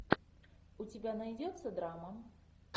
у тебя найдется драма